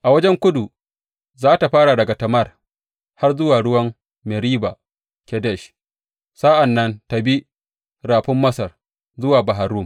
A wajen kudu za tă fara daga Tamar har zuwa ruwan Meriba Kadesh, sa’an nan ta bi Rafin Masar zuwa Bahar Rum.